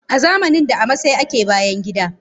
Azamanin da a masai ake bayangida.